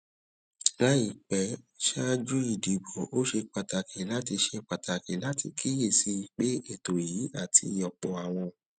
láìpé ṣáájú ìdìbò ó ṣe pàtàkì láti ṣe pàtàkì láti kíyè sí i pé ètò yìí àti òpò àwọn